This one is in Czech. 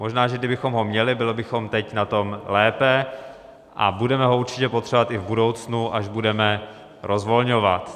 Možná že kdybychom ho měli, byli bychom teď na tom lépe, a budeme ho určitě potřebovat i v budoucnu, až budeme rozvolňovat.